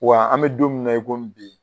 Wa an bɛ don min na i ko bi